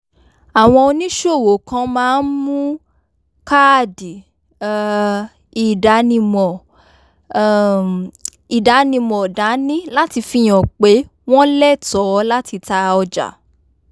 àwọn oníṣòwò kan máa ń mú káàdì um ìdánimọ̀ um ìdánimọ̀ dání láti fi hàn pé wọ́n lẹ́tọ̀ọ́ láti ta ọjà